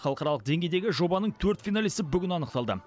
халықаралық деңгейдегі жобаның төрт финалисі бүгін анықталды